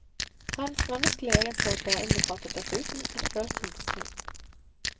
Hans menneskelige egenskaper innbefattet dessuten et følsomt sinn.